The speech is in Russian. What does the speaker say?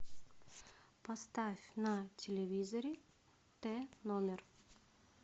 поставь на телевизоре т номер